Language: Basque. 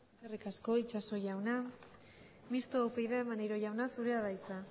eskerrik asko itxaso jauna mistoa upyd maneiro jauna zurea da hitza